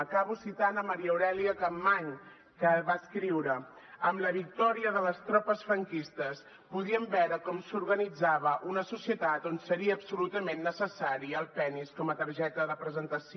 acabo citant maria aurèlia capmany que va escriure amb la victòria de les tropes franquistes podíem veure com s’organitzava una societat on seria absolutament necessari el penis com a targeta de presentació